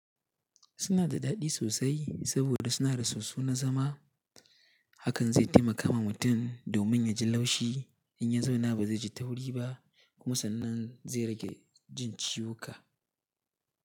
Suna da daɗi sosai saboda suna da soso na zama. Hakan zai taimaka ma mutum domin ya ji laushi in ya zauna ba zai ji tauri ba kuma sannan zai rage jin ciwuka.